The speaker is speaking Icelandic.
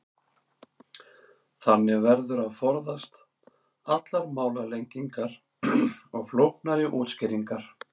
Þannig verður að forðast allar málalengingar og flóknari útskýringar.